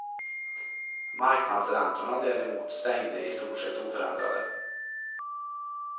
Marknadsräntorna däremot stängde i stort sett oförändrade.